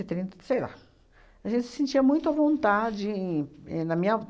e trinta, sei lá. A gente se sentia muito à vontade em éh na minha